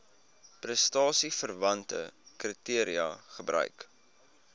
prestasieverwante kriteria gebruik